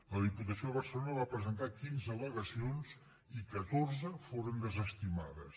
la diputació de barcelona va presentar quinze al·legacions i catorze foren desestimades